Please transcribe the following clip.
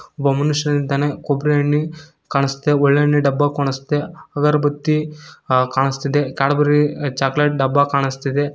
ಒಬ್ಬ ಮನುಷ್ಯ ನಿಂತಾನೆ ಕೊಬ್ರಿ ಎಣ್ಣಿ ಕಾಣುಸ್ತಿದೆ ಒಳ್ಳೆಣ್ಣೆ ಡಬ್ಬ ಕಾಣುಸ್ತಿದೆ ಅಗರಬತ್ತಿ ಆ ಕಾಣುಸ್ತಿದೆ ಕ್ಯಾಡ್ಬರಿ ಚಾಕಲೇಟ್ ಡಬ್ಬ ಕಾಣುಸ್ತಿದೆ.